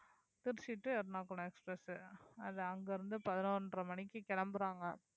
Trichy to Ernakulam express அது அங்க இருந்து பதினொன்றை மணிக்கு கிளம்பறாங்க